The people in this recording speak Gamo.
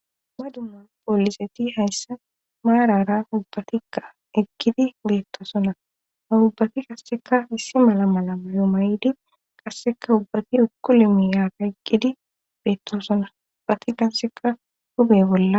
Dumma dumma pooliseti hayssa maarara ubbatikka eqgidi beettosona ha ubbati kasseka issi mala mala adumaydi qasseka ubbati ukuli miyara eqgidi beettosona ubbati dasseka huphe bolla